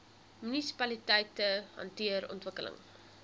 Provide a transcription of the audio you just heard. munisipaliteite hanteer ontwikkeling